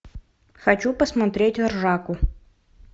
хочу посмотреть ржаку